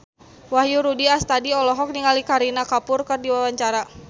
Wahyu Rudi Astadi olohok ningali Kareena Kapoor keur diwawancara